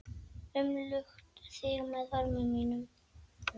Umlukt þig með örmum mínum.